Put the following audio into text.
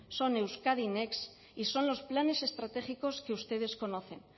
son euskadi next y son los planes estratégicos que ustedes conocen